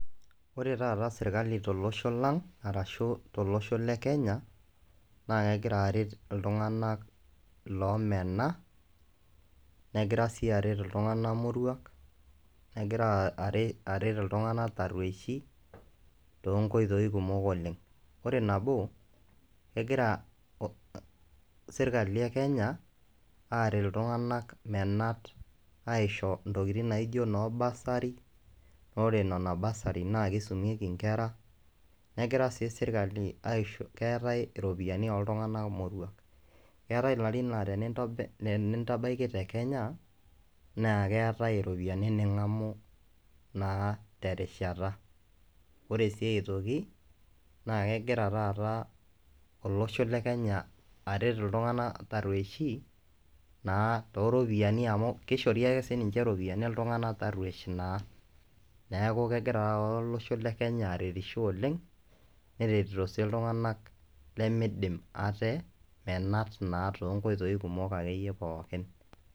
Ore taata serkali tolosho lang aashu tolosho le Kenya, naa kegira aret iltungana loomena, negira sii aret iltungana moruak, negira aret iltungana terweshi, too nkoitoi kumok oleng ,ore nabo kegira serkali e Kenya aaret iltungana menat aisho ntokitin naijo noo bursary ore nena bursary naa keisumieki nkera, negira sii srkali aishooyo keetae ropiyiani ooltungana moruak ,keetae larin laa tenintabaiki te Kenya naa keetae ropiyiani ningamu naa terishata ,ore sii aitoki naa kegira taata olosho le Kenya aret iltungana tarweishi naa too ropiyiani amu keishori ake sii ninje ropiyiani iltungana tarweishi naa ,neeku kegira taata olosho le kenya aretisho oleng neretito sii iltungana lemeidim ate menat naa too nkoitoi kumok akeyie pookin.